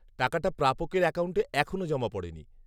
-টাকাটা প্রাপকের অ্যাকাউন্টে এখনও জমা পড়েনি।